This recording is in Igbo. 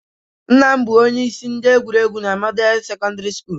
Nna m bụ onye isi egwuregwu na Model Sekọndrị Sukulu